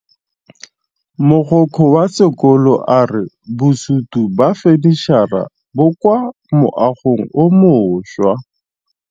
Mogokgo wa sekolo a re bosutô ba fanitšhara bo kwa moagong o mošwa.